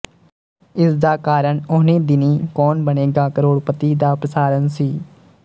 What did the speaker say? ਇਸਦਾ ਕਾਰਣ ਉਹਨੀਂ ਦਿਨੀਂ ਕੌਨ ਬਣੇਗਾ ਕਰੋੜਪਤੀ ਦਾ ਪ੍ਰਸਾਰਣ ਸੀ